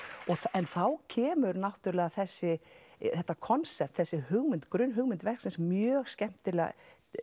en þá kemur náttúrulega þessi þetta konsept þessi hugmynd grunnhugmynd verksins mjög skemmtilega